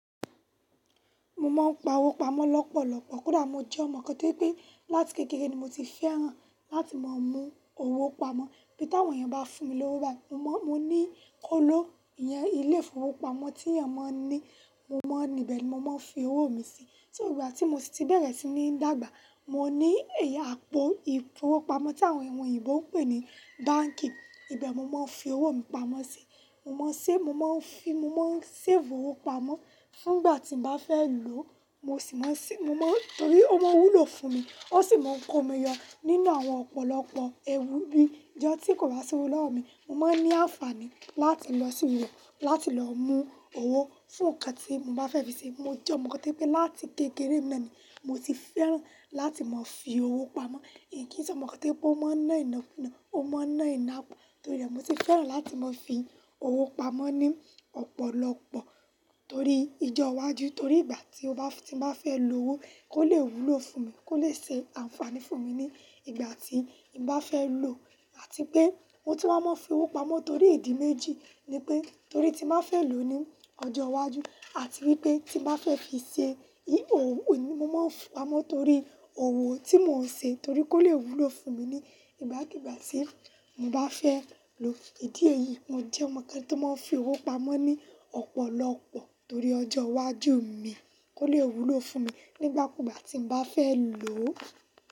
Mo mọ pá wo pamọ́ lọ́pọ̀lọpọ̀. Kódà mo jẹ́ ọmọ kán tí o jẹ pé láti kékeré ni mo ti fẹ́ràn láti máa mú owó pamọ́. Bí táwọn eyan bá fún mi lówó bàyi, mo mọ, mo ní kóló iyẹn, ilé ìfowópamọ́ tí èèyàn máa ń ní. Mo mọ níbẹ̀ ni mo máa ń fi owó mi sí. Ti igba ti mo sì ti bẹ̀rẹ̀ sí ní dàgbà. Mo ní ẹ̀ya àpò ìfowópamọ́ tí àwọn èèyàn òyìnbó ń pè ní báǹkì, ibẹ̀ nimo máa ń fi owó mi pamọ́ sí. Mo máa ń ṣẹ, mo máa ń fi, mo máa ń ṣẹ́fun owó pamọ́. Nígbà tí mo bá fẹ́ lò ó, mo sì máa ń ṣẹ, mo mọ́ torí ó máa ń wú lo fún mi. Ó sì máa ń kó mi yọ nínú àwọn ọ̀pọ̀lọpọ̀ ewu bí i ijọ tí kò bá ṣi owo lọwọmi. Mo máa ń ní àǹfààní láti lọ sí ìlú láti lọ mú owó fún nǹkan tí mo bá fẹ́ fi ṣe. Mo jẹ́ ọmọ kán tí o jẹ wipé láti kékeré ni mo ti fẹ́ràn láti máa fi owó pamọ́. Kí nì jẹ́ ọmọ kán tí pé ó máa ń ná iná fún iná, ó máa ń ná iná pọ̀. Torí rẹ, mo ti fẹ́ràn láti máa fi owó pamọ́ ní ọ̀pọ̀lọpọ̀ torí ijọ iwájú. Torí ìgbà tí mbá, tí mo bá fẹ́ lò owó kó lè wú lo fún mi, kó lè ṣe àǹfààní fún mi ní ìgbà tí n bá fẹ́ lò á. Àti pé mo ti máa mọ́ fi owó pamọ́ torí ìdí méjì ni pé torí tí nbàá fẹ́ lò ó ní ọjọ́ iwájú àti wípé tí bàá fẹ́ fi ṣe ihò, mo máa ń fi owó pamọ́ torí owó tí mò ń ṣe torí kó lè wú lo fún mi ní ìgbàkígbà tí mo bá fẹ́ lò ó. Ìdí èyí, mo jẹ́ ọmọ kán tí ó máa ń fi owó pamọ́ ní ọ̀pọ̀lọpọ̀ torí ọjọ́ iwájú mi kó lè wú lo fún mi nígbàkúùgbà tí mbàá fẹ́ lò ó.